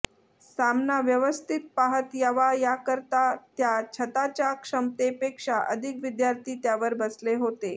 सामना व्यवस्थित पाहत यावा याकरता त्या छताच्या क्षमतेपेक्षा अधिक विद्यार्थी त्यावर बसले होते